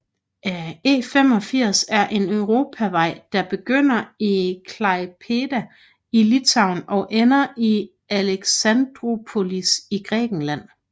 E85 er en europavej der begynder i Klaipėda i Litauen og ender i Alexandroupolis i Grækenland